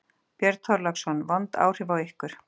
Björn Þorláksson: Vond áhrif á ykkur?